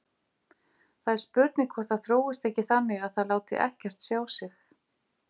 Það er spurning hvort það þróist ekki þannig að það láti ekkert sjá sig.